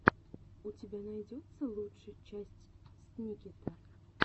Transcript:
у тебя найдется лучшая часть сникета